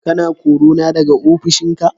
Kana korana da ofishinka ne?